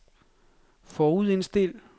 forudindstil